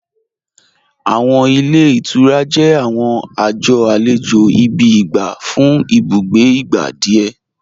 Awọn ilẹ̀ ìtúrà jẹ̀ awọn ajọ̀ alẹjo gbígbà fún ìbùgbé igbá díẹ̀.